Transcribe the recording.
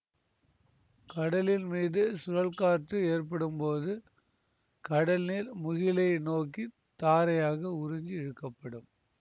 கடலின் மீது சுழல்காற்று ஏற்படும்போது கடல் நீர் முகிலை நோக்கி தாரையாக உறிஞ்சி இழுக்கப்படும்